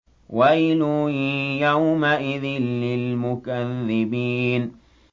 وَيْلٌ يَوْمَئِذٍ لِّلْمُكَذِّبِينَ